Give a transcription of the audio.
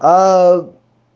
аа